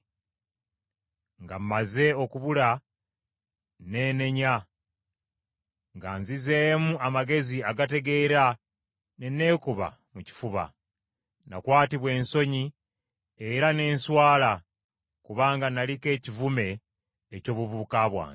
Nga mmaze okubula, neenenya, nga nzizeemu amagezi agategeera ne neekuba mu kifuba. Nakwatibwa ensonyi era ne nswala, kubanga naliko ekivume ky’obuvubuka bwange.’